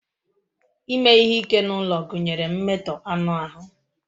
Ime ihe ike n'ime ulo gunyere mmeto anu ahu.